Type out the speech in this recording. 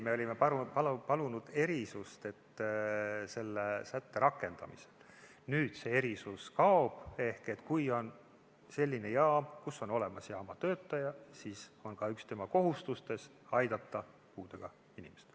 Me olime palunud erandit selle sätte rakendamisel, nüüd see kaob ehk kui on selline jaam, kus on olemas jaamatöötaja, siis on üks tema kohustustest aidata puudega inimest.